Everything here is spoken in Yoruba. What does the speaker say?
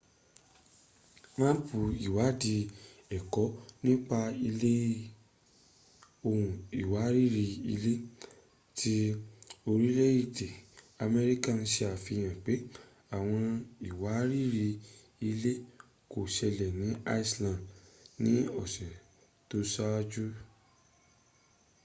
máàpù ìwáádìí ẹ̀kọ nípa ilẹ̀ ohun ìwárìrì-ilẹ̀ ti orìlé-èdè amerika sàfihàn pẹ́ ́àwọǹ ìwárìrì-ilẹ kò sẹlẹ̀ ni iceland ni ọ̀sẹ̀ tó sáájú